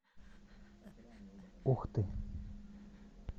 ухты